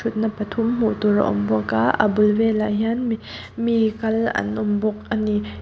na pathum hmuh tur a awm bawk a a bul velah hian mi kal an awm bawk ani.